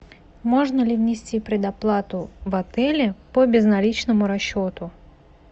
можно ли внести предоплату в отеле по безналичному расчету